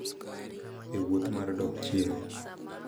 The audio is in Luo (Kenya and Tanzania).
E wuoth mar dok chien,